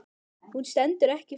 Hún stendur ekki fyrir neitt.